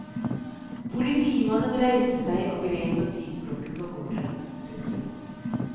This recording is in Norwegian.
Politimannen reiste seg og grep notisblokken på bordet. punktum